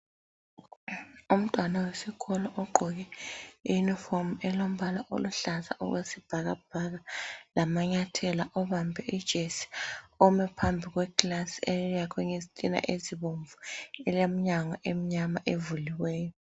Umntwana wesikolo ogqoke i yunifomu elombala oluhlaza okwe sibhakabhaka lamanyathela abambe ijesi ome phambi kwekilasi eyakhwe ngezitina ezibomvu elemnyango emnyama evuliweyo.